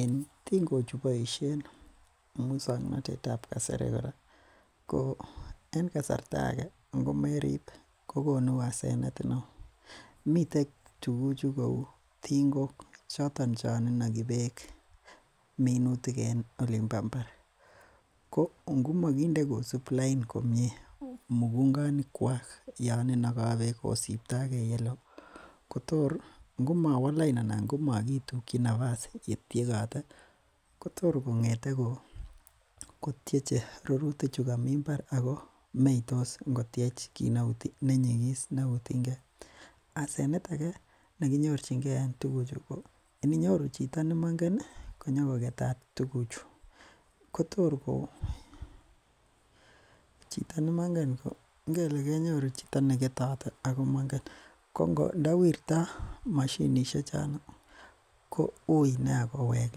En ting'ok chuboisien musuaknotetab kasari ko en kasarta age ingomarib kokonu asenet neo. Miten tuguk cheuu ting'ok choton chon inagi bek minutik en olimbo Imbar. Ko ingomaginde kosub Laine komie mugunganik kwak Yoon inaga bek kosibtage yeloo tor ingo mawa lain anan ingomagitukyi nefas uetiekate Kotor kong'ete kotieche rurutik chugan Ako meitos ingottiech kit nenyigis neuu ting'et asenet age nekinyorchinge en tukuchu ininyoru chito nemangen konyogoketat Kotor go ko inda wirta mashinisiek chono koui nea kowek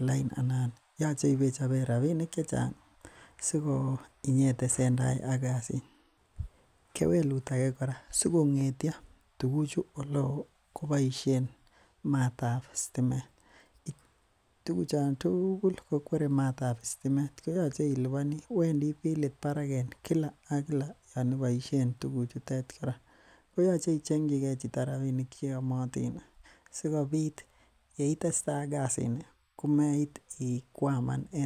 lain yache . Yache ibechaben rabinik chechang ih siyeitesentai kasit . Kewelut age kora sikong'etio ko kwere matab sitimet Wendi bilit barak en Kila ak Kila Yoon ibaishen tuguchutet kora , koyache ibaishen kayache ichengchikee rabinik cheyamatin ih sikobit yeitesetai ak kasit ni komaiti kwaman.